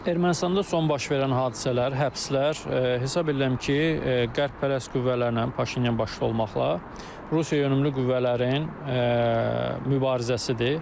Ermənistanda son baş verən hadisələr, həbslər, hesab edirəm ki, qərbyönümlü qüvvələrlə Paşinyan başda olmaqla Rusiyayönümlü qüvvələrin mübarizəsidir.